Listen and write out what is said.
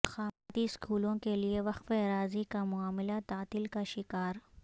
اقامتی اسکولوں کیلئے وقف اراضی کا معاملہ تعطل کا شکار